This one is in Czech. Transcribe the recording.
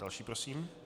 Další prosím.